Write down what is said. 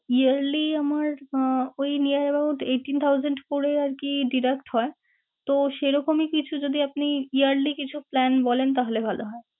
Yearly আমার আহ ওই neard eightheen thousand করেই আরকি deduct হয়। তো, সেরকমই কিছু যদি আপনি yearly কিছু plan বলেন তাহলে ভালো হয়।